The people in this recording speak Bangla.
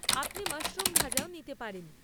আপনি মাশরুম ভাজাও নিতে পারেন।